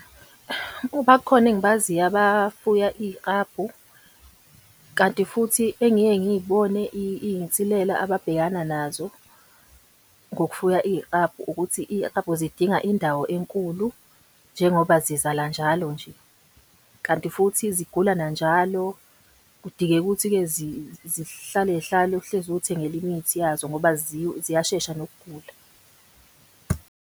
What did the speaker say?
Bakhona engibaziyo abafuya iy'klabhu. Kanti futhi engike ngiy'bone iy'nsilela ababhekana nazo ngokufuya iyiklabhu, ukuthi iy'klabhu zidinga indawo enkulu njengoba zizala njalo nje. Kanti futhi zigula na njalo kudingeka ukuthi-ke zihlale iy'hlale uhlezi uy'thengela imithi yazo ngoba ziyashesha nokugula.